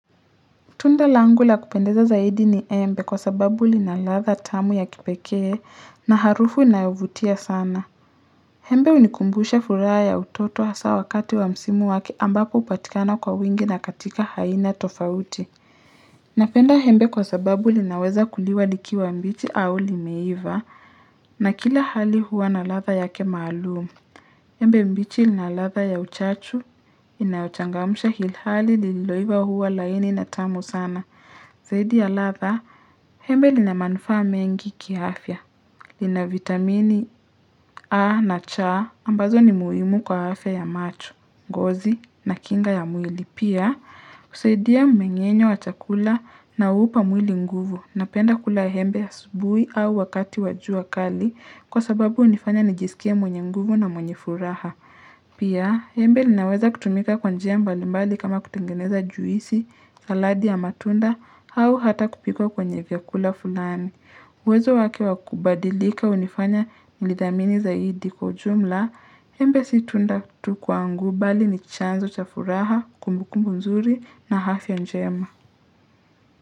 Tunda langula kupendeza zaidi ni embe kwa sababu linaladha tamu ya kipekee na harufu inayovutia sana. Hembe hunikumbusha fura ya utoto hasa wakati wa msimu waki ambapo upatikana kwa wingi na katika haina tofauti. Napenda hembe kwa sababu linaweza kuliwa likiwa mbichi au limeiva na kila hali huwa naladha yake maalumu. Hembe mbichi linaladha ya uchachu inayochangamusha hilhali liloiva huwa laini na tamu sana. Zaidi ya latha, hembe lina manufa mengi kiaafya. Lina vitamini A na C ambazo ni muimu kwa hafe ya machu, ngozi na kinga ya mwili. Pia, kuseidia mmenyenyo wa chakula na upa mwili nguvu. Napenda kula hembe ya asubui au wakati wajua kali kwa sababu unifanya nijisikia mwenye nguvu na mwenye furaha. Pia, hembe linaweza kutumika kwanjia mbali mbali kama kutengeneza juisi, saladi ya matunda au hata kupikwa kwenye vyakula fulani. Wezo wake wakubadilika unifanya nilidhamini zaidi kujumla, embe situnda kutukuangu bali ni chanzo chafuraha, kumbuku mzuri na hafya njema.